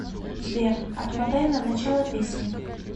сбер отмотай на начало песни